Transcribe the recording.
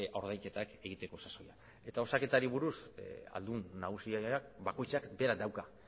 ordainketak egiteko sasoia eta osaketari buruz ahaldun nagusi bakoitzak berak dauka